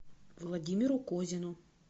владимиру козину